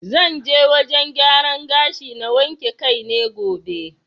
Zan je wajen gyaran gashi na wanke kai ne gobe.